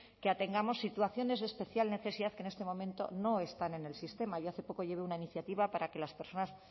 que atengamos situaciones de especial necesidad que en este momento no están en el sistema yo hace poco llevé una iniciativa para que las personas